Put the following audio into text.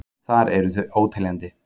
Þar eru þau óteljandi.